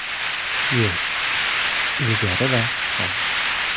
Yer ilgari va hozir.